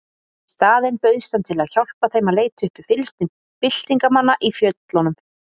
Í staðinn bauðst hann til að hjálpa þeim að leita uppi fylgsni byltingarmanna í fjöllunum.